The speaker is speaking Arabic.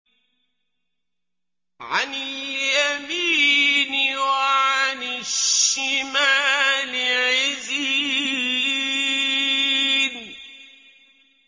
عَنِ الْيَمِينِ وَعَنِ الشِّمَالِ عِزِينَ